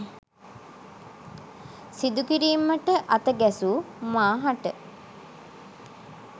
සිදු කිරීමට අත ගැසූ මා හට